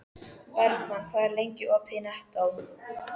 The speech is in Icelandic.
Bergmann, hvað er lengi opið í Nettó?